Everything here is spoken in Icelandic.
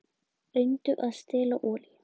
Reyndu að stela olíu